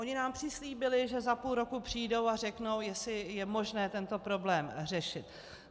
Oni nám přislíbili, že za půl roku přijdou a řeknou, jestli je možné tento problém řešit.